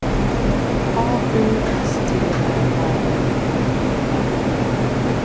A U S T R A L I E N